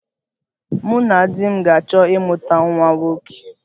Mụ na di m ga-achọ ịmụta nwa nwoke